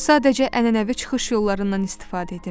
Sadəcə ənənəvi çıxış yollarından istifadə edirdilər.